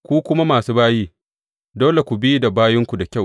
Ku kuma masu bayi, dole ku bi da bayinku da kyau.